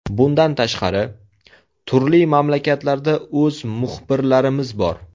Bundan tashqari, turli mamlakatlarda o‘z muxbirlarimiz bor.